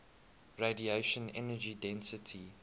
radiation energy density